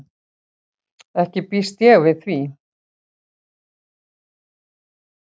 Ekki býst ég við því.